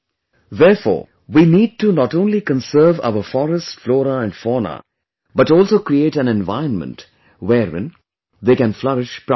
Therefore, we need to not only conserve our forests, flora and fauna, but also create an environment wherein they can flourish properly